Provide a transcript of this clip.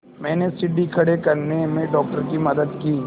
मैंने सीढ़ी खड़े करने में डॉक्टर की मदद की